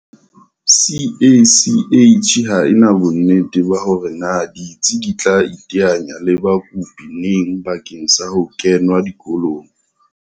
CACH ha ena bonnete ba hore na ditsi di tla iteanya le bakopi neng bakeng sa ho kengwa dikolong.